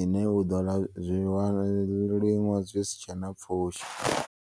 ine uḓo zwiliṅwa zwisitshena pfushi.